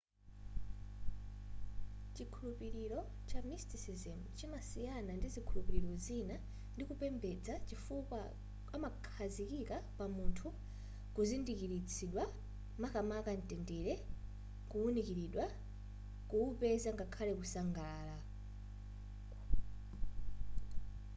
chikhulupiliro cha mysticism chimasiyana ndi zikhulupiliro zina ndi kupembeza chifukwa amakhazikika pa munthu kuzindikilitsidwa makamaka ntendere kuunikilidwa kuupeza ngakhale ku sangalala